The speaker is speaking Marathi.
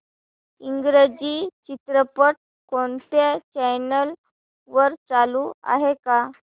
इंग्रजी चित्रपट कोणत्या चॅनल वर चालू आहे का